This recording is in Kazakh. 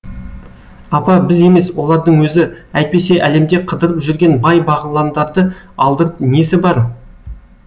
апа біз емес олардың өзі әйтпесе әлемде қыдырып жүрген бай бағландарды алдырып несі бар